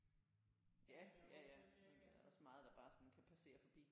Ja ja ja men der er også meget der bare sådan kan passere forbi